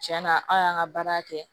Cɛn na aw y'an ka baara kɛ